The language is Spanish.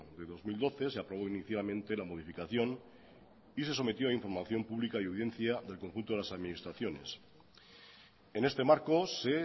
de dos mil doce se aprobó inicialmente la modificación y se sometió a información pública y audiencia del conjunto de las administraciones en este marco se